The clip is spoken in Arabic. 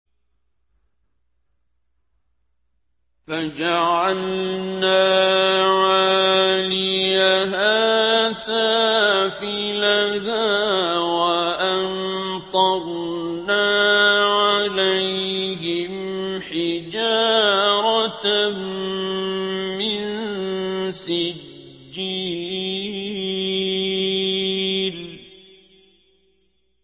فَجَعَلْنَا عَالِيَهَا سَافِلَهَا وَأَمْطَرْنَا عَلَيْهِمْ حِجَارَةً مِّن سِجِّيلٍ